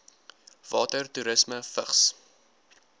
water toerisme vigs